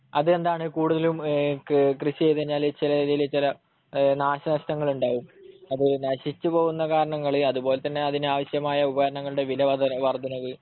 അതെന്താണ്, കൂടുതലും കൃഷി ചെയ്തു കഴിഞ്ഞാല് ചിലതില് ചില നാശനഷ്ടങ്ങളുണ്ടാകും. അപ്പൊ ഈ നശിച്ചുപോകുന്ന കാരണങ്ങള് അതുപോലെതന്നെ അതിനാവശ്യമായ ഉപകരണങ്ങളുടെ വിലവർദ്ധനവ്,